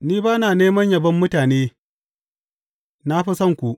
Ni ba na neman yabon mutane, na fa san ku.